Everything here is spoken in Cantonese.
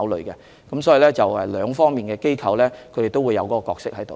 因此，兩方面的機構都會有角色參與。